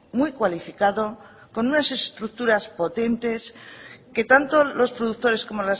muy cualificado con unas estructuras potentes que tanto los productores como